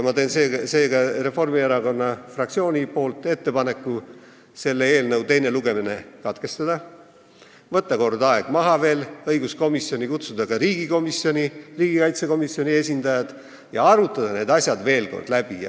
Ma teen seega Reformierakonna fraktsiooni nimel ettepaneku selle eelnõu teine lugemine katkestada, võtta veel kord aeg maha, kutsuda õiguskomisjoni ka riigikaitsekomisjoni esindajad ja arutada need asjad veel kord läbi.